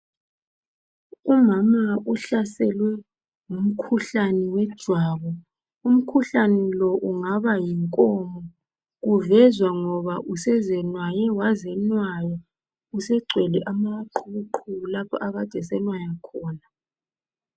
Umama uhlaselwe ngumkhuhlane wejwabu. Umkhuhlane lo ungaba yinkomo. Lokhu kuvezwa yikuba usezenwaye wazenwaya. Usegcwele amaqhubuqhubu lapho akade esenwaya khona.